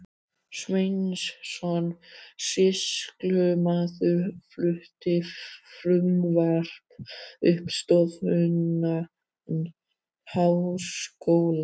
Sveinsson sýslumaður flutti frumvarp um stofnun háskóla.